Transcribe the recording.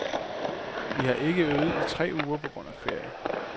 Vi har ikke øvet i tre uger på grund af ferie.